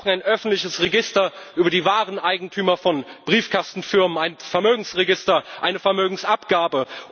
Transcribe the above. Wir brauchen ein öffentliches Register über die wahren Eigentümer von Briefkastenfirmen, ein Vermögensregister und eine Vermögensabgabe.